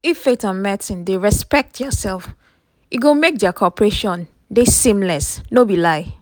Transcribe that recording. if faith and medicine dey respect diaself e go make dia cooperation dey seamless no be lie.